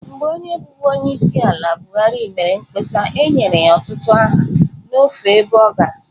Mgbe onye bụbu onyeisiala buhari mere mkpọsa e nyere ya ọtụtụ aha n'ofe ebe ọ gara